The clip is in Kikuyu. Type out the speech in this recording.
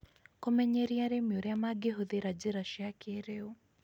Kũmenyeria arĩmi ũrĩa mangĩhũthĩra njĩra cia kĩrĩu.